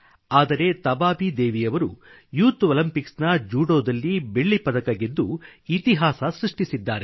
ಆದರೆ ತಬಾಬಿ ದೇವಿಯವರು ಯುತ್ ಒಲಿಂಪಿಕ್ಸ್ನ ಜೂಡೋದಲ್ಲಿ ಬೆಳ್ಳಿ ಪದಕ ಗೆದ್ದು ಇತಿಹಾಸ ಸೃಷ್ಟಿಸಿದ್ದಾರೆ